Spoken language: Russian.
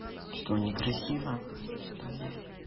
что не красиво что ли